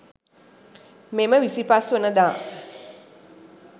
මෙම 25 වන දා